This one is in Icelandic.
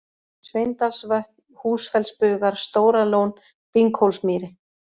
Sveinsdalsvötn, Húsfellsbugar, Stóralón, Binghólsmýri